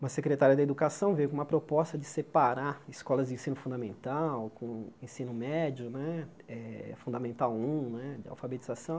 Uma secretária da educação veio com uma proposta de separar escolas de ensino fundamental com ensino médio né, eh Fundamental um né, de alfabetização.